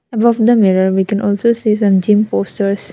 above the mirror we can also see some gym posters.